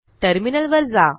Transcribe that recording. टर्मिनलवर जा